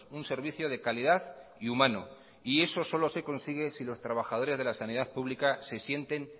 un servicio de calidad y humano eso solo se consigue si los trabajadores de la sanidad pública se sienten